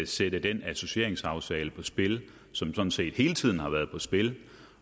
sætte den associeringsaftale på spil som sådan set hele tiden har været på spil